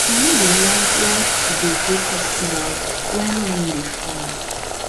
i no dey like like to dey go festival wen rain dey fall